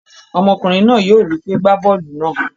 Ọmọkùnrin náà yóò wípé, 'gbá bọ́ọ̀lù náà.